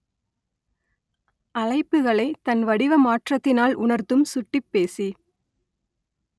அழைப்புகளை தன்வடிவ மாற்றத்தினால் உணர்த்தும் சுட்டிப்பேசி